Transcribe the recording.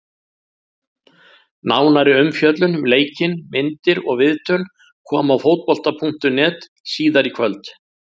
Nánari umfjöllun um leikinn, myndir og viðtöl koma á Fótbolta.net síðar í kvöld.